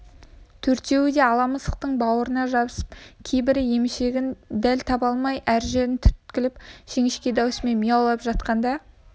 төртеуі де ала мысықтың бауырына жабысып кейбірі емшегін дәл таба алмай әр жерін түрткілеп жіңішке даусымен мияулап жатқанда